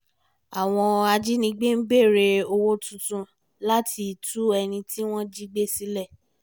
àwọn ajínigbé ń béèrè owó tuntun láti tú ẹni tí wọ́n jígbé sílẹ̀